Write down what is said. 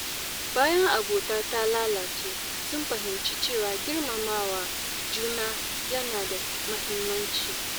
Bayan abota ta lalace, sun fahimci cewa girmama juna yana da mahimmanci.